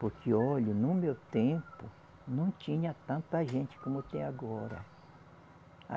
Porque, olha, no meu tempo não tinha tanta gente como tem agora.